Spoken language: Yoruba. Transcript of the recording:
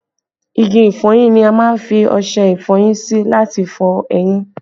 Igi ìfọyín ni a má ń fi ọṣẹ ìfọyín sí láti fọ eyín